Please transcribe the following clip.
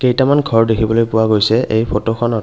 কেইটামান ঘৰ দেখিবলৈ পোৱা গৈছে এই ফটোখনত।